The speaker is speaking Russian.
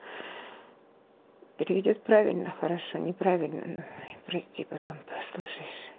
переведёт правильно хорошо неправильно прости потом послушаешь